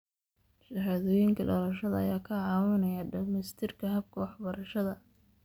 Shahaadooyinka dhalashada ayaa kaa caawinaya dhamaystirka habka waxbarashada.